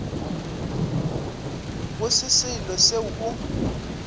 go se selo seo o